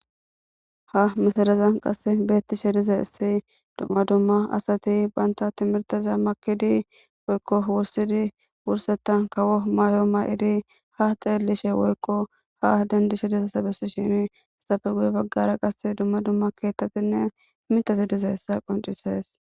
Ha Gutarazan qase beetishe dizays dumma dumma Asati Banta timirteza makidi Woyko wosidi wursethan kawo mayo Mayidi Ha xellishe Woyko Ha dendishe haysafe Guye bagara qase Duma Duma ketati Mitati Dizaysa qoncises